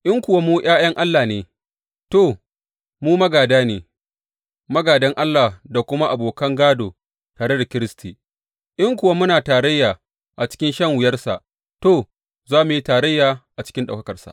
In kuwa mu ’ya’ya ne, to, mu magāda ne, magādan Allah da kuma abokan gādo tare da Kiristi, in kuwa muna tarayya a cikin shan wuyarsa to, za mu yi tarayya a cikin ɗaukakarsa.